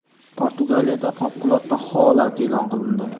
Portugaliyada favqulodda holat e’lon qilindi.